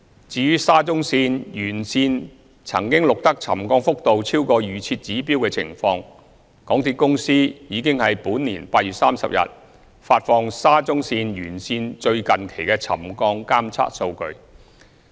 至於沙中線沿線曾錄得沉降幅度超過預設指標的情況，港鐵公司已於本年8月30日發放沙中線沿線最近期的沉降監測數據。